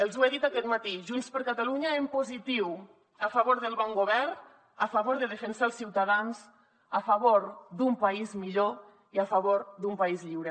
els ho he dit aquest matí junts per catalunya en positiu a favor del bon govern a favor de defensar els ciutadans a favor d’un país millor i a favor d’un país lliure